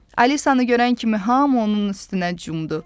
Alisanı görən kimi hamı onun üstünə cumdu.